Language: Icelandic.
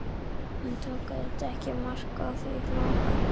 Hann tók auðvitað ekki mark á því, hló bara.